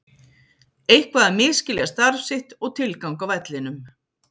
Eitthvað að misskilja starf sitt og tilgang á vellinum.